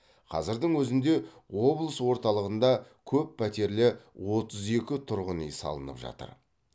қазірдің өзінде облыс орталығында көп пәтерлі отыз екі тұрғын үй салынып жатыр